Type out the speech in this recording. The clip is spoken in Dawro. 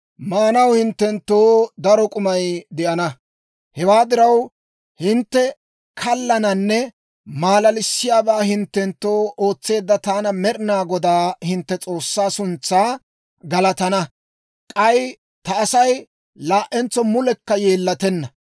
Maanaw hinttenttoo daro k'umay de'ana. Hewaa diraw, hintte kallananne maalalissiyaabaa hinttenttoo ootseedda taana Med'inaa Godaa hintte S'oossaa suntsaa galatana. K'ay ta Asay laa"entso mulekka yeellatenna.